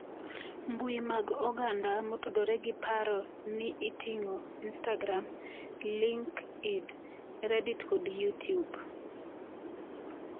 Mbui mag oganda motudore gi paro ni oting'o Instagram, LinkedIn, Reddit kod Youtube